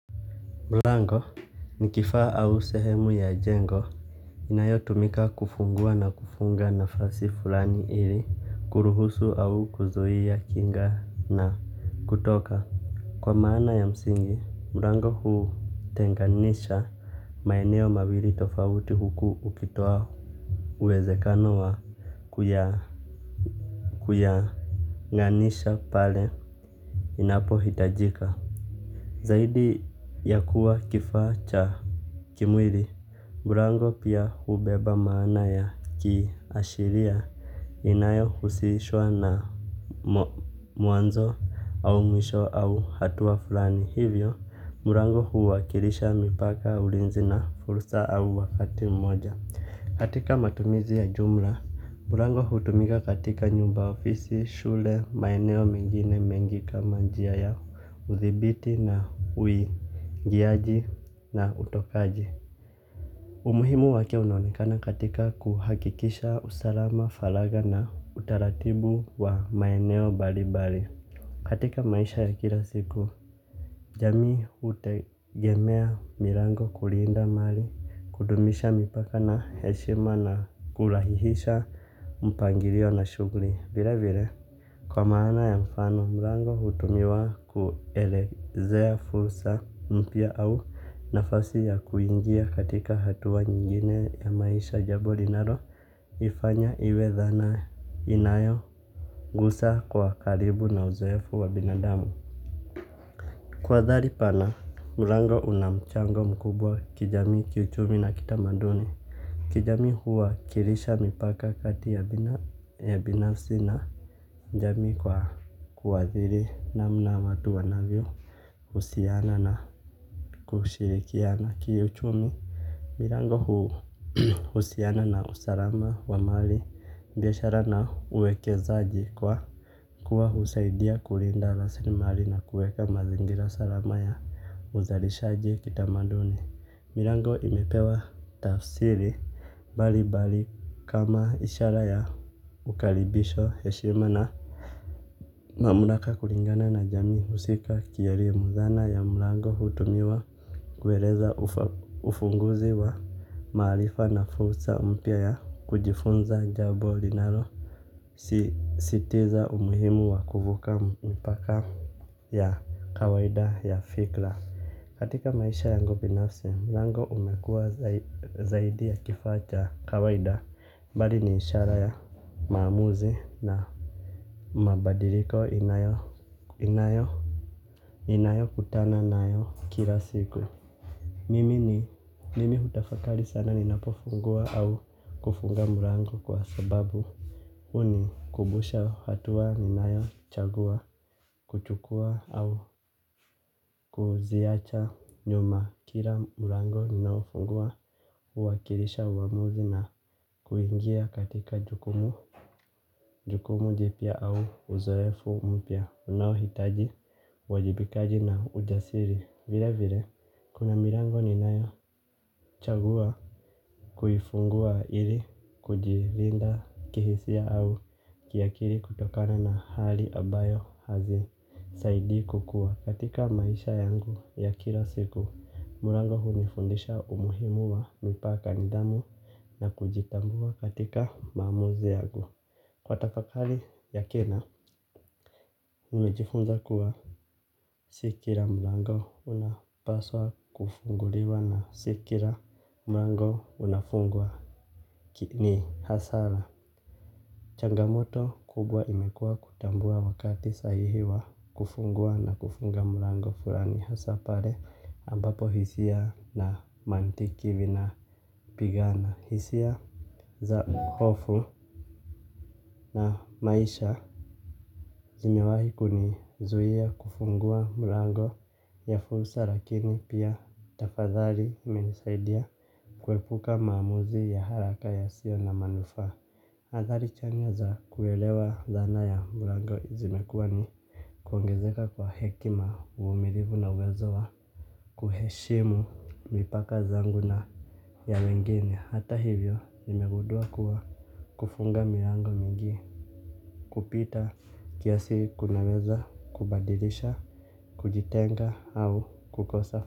Mlango ni kifaa au sehemu ya jengo inayotumika kufungua na kufunga nafasi fulani ili kuruhusu au kuzuia kuingia na kutoka. Kwa maana ya msingi, mlango hutenganisha maeneo mawili tofauti huku ukitoa uwezekano wa kuyaunganisha pale inapohitajika. Zaidi ya kuwa kifaa cha kimwili, mlango pia hubeba maana ya kiashiria inayohusishwa na mwanzo au mwisho au hatua fulani. Hivyo, mlango huwakilisha mipaka, ulinzi na fursa au wakati mmoja. Katika matumizi ya jumla, mlango hutumika katika nyumba, ofisi, shule, maeneo mengine mengi kama njia ya udhibiti na uingiaji na utokaji. Umuhimu wake unaonekana katika kuhakikisha usalama, faragha na utaratibu wa maeneo mbalimbali. Katika maisha ya kila siku, jamii hutegemea milango kulinda mali, kudumisha mipaka na heshima na kurahihisha mpangilio na shughuli. Vile vile, kwa maana ya mfano, milango hutumiwa kuelezea fursa mpya au nafasi ya kuingia katika hatua nyingine ya maisha. Jambo linaloifanya iwe dhana inayo gusa kwa karibu na uzoefu wa binadamu. Kwa athari pana, mlango una mchango mkubwa kijamii, kiuchumi na kitamaduni. Kijamii, huwakilisha mipaka kati ya binafsi na jamii kwa kuathiri namna watu wanavyohsiana na kushirikiana. Kiuchumi, milango huhusiana na usalama wa mali, biashara na uwekezaji kwa kuwa husaidia kulinda rasilimali na kuweka mazingira salama ya uzalishaji. Kitamaduni, milango imepewa tafsiri mbali mbali kama ishara ya kukaribishwa, heshima na mamlaka kulingana na jamii husika. Kielimu, dhana ya mlango hutumiwa kueleza ufunguzi wa maarifa na fursa mpya ya kujifunza jambo linalo sisitiza umuhimu wa kuvuka mipaka ya kawaida ya fikra. Katika maisha yangu binafsi, mlango umekuwa zaidi ya kifaa cha kawaida bali ni ishara ya maamuzi na mabadiliko ninayokutana nayo kila siku. Mimi hutafakari sana ninapofungua au kufunga mlango kwa sababu huni kumbusha hatua ninayochagua kuchukua au kuziacha nyuma. Kila mlango ninaofungua huwakilisha uamuzi na kuingia katika jukumu. Jukumu jipya au uzoefu mpya unaohitaji uwajibikaji na ujasiri. Vile vile kuna milango ninayochagua kuifungua ili kujilinda kihisia au kiakili kutokana na hali ambayo hazisaidi kukua katika maisha yangu ya kila siku, mlango hunifundisha umuhimu wa mipaka, nidhamu na kujitambua katika maamuzi yangu. Kwa tafakari ya kina, nimejifunza kuwa si kila mlango unapaswa kufunguliwa na si kila mlango unafungwa ni hasara. Changamoto kubwa imekuwa kutambua wakati sahihi wa kufungua na kufunga mlango fulani, hasaa pale ambapo hisia na mantiki vinapigana. Hisia za hofu na maisha zimewahi kunizuia kufungua mlango ya fursa lakini pia tafadhali imenisaidia kuepuka maamuzi ya haraka yasiyo na manufaa. Athari chanya za kuelewa dhana ya mlango zimekuwa ni kuongezeka kwa hekima, uvumilivu na uwezo wa kuheshimu mipaka zangu na ya wengine. Hata hivyo nimegundua kuwa kufunga milango mingi kupita kiasi kunaweza kubadilisha, kujitenga au kukosa.